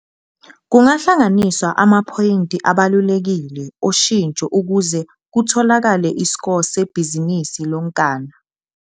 Kungahlanganiswa amaphoyinti abalulekile oshintsho ukuze kutholakale isko sebhizinisi lonkana.